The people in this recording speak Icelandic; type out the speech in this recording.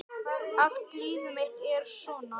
Allt líf mitt er svona!